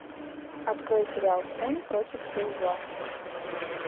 открой сериал стэн против сил зла